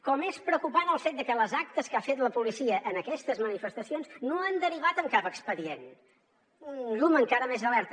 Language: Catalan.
com és preocupant el fet de que les actes que ha fet la policia en aquestes manifestacions no han derivat en cap expedient un llum encara més d’alerta